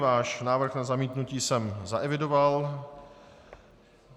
Váš návrh na zamítnutí jsem zaevidoval.